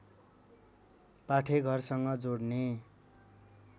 पाठेघरसँग जोड्ने